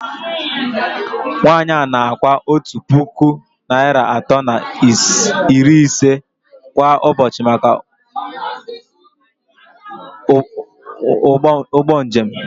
Nwanyị a na-akwụ otu puku naịra atọ na iri ise kwa ụbọchị maka ụgbọ njem